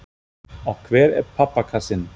Og hver er pappakassinn?